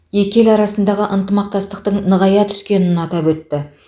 екі ел арасындағы ынтымақтастықтың нығая түскенін атап өтті